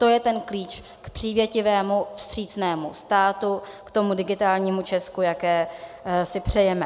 To je ten klíč k přívětivému, vstřícnému státu, k tomu digitálnímu Česku, jaké si přejeme.